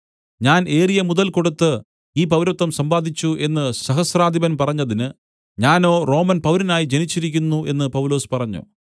ഞാൻ ഏറിയ മുതൽ കൊടുത്ത് ഈ പൗരത്വം സമ്പാദിച്ചു എന്നു സഹസ്രാധിപൻ പറഞ്ഞതിന് ഞാനോ റോമൻ പൗരനായി ജനിച്ചിരിക്കുന്നു എന്ന് പൗലൊസ് പറഞ്ഞു